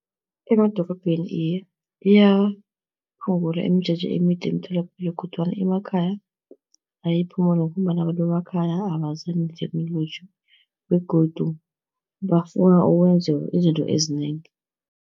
Emadorobheni iye iyaphungula imijeje emide emitholapilo kodwana emakhaya ayiphumuli, ngombana abantu bemakhaya abazwani netheknoloji begodu bafuna ukwenziwa izinto ezinengi.